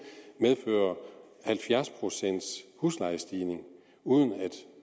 medfører halvfjerds procent huslejestigning uden